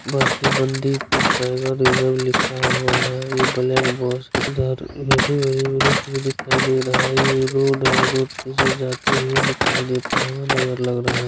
बस पर Bandipur tiger reserve लिखा हुआ है ब्लैक बस दिखाई दे रहा है। ये रोड पे जाती दिखाई देता हुआ नज़र लग रहा है।